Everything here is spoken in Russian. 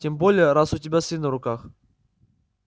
тем более раз у тебя сын на руках